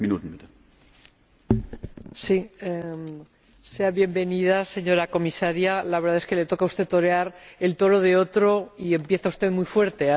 Señor Presidente, sea bienvenida, señora Comisaria. La verdad es que le toca a usted torear el toro de otro, y empieza usted muy fuerte.